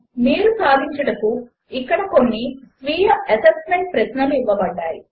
మీరు సాధించుటకు ఇక్కడ కొన్ని స్వీయ అసెస్మెంట్ ప్రశ్నలు ఇవ్వబడినవి